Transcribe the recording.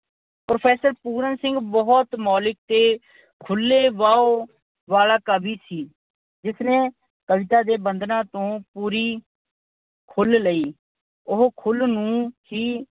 Professor Puran Singh ਬਹੁਤ ਮੌਲਿਕ ਅਤੇ ਖੁੱਲ੍ਹੇ ਵਿਚਾਰਾਂ ਵਾਲਾ ਕਵੀ ਸੀ ਜਿਸਨੇ ਕਵਿਤਾ ਦੇ ਬੰਧਨਾਂ ਤੋਂ ਪੂਰੀ ਖੁੱਲ੍ਹ ਲਈ। ਉਹ ਖੁੱਲ੍ਹ ਨੂੰ ਹੀ